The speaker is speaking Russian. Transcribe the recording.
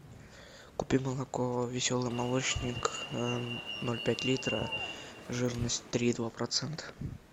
купи молоко веселый молочник ноль пять литра жирность три и два процента